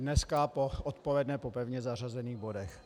Dneska odpoledne po pevně zařazených bodech.